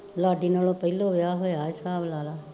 ਲਾਡੀ ਨਾਲੋਂ ਪਹਿਲੋਂ ਵਿਆਹ ਹੋਇਆ ਹਿਸਾਬ ਲਾਲਾ